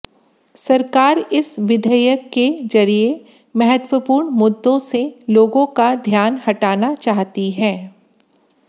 सरकार इस विधेयक के जरिए महत्वपूर्ण मुद्दों से लोगों का ध्यान हटाना चाहती है